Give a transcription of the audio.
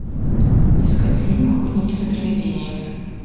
искать фильм охотники за привидениями